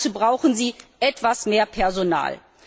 Und dazu brauchen sie etwas mehr Personal.